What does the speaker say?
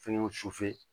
Fɛnkɛw